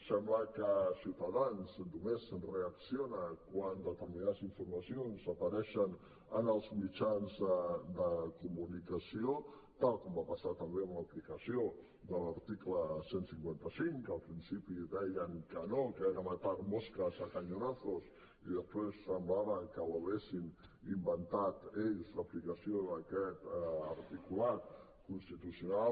sembla que ciutadans només reacciona quan determinades informacions apareixen en els mitjans de comunicació tal com va passar també amb l’aplicació de l’article cent i cinquanta cinc que al principi deien que no que era matar moscas a cañonazos i després semblava que haguessin inventat ells l’aplicació d’aquest articulat constitucional